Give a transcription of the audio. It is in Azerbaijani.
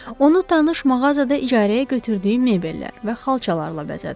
Onu tanış mağazada icarəyə götürdüyü mebellər və xalçalarla bəzədi.